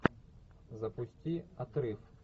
запусти отрыв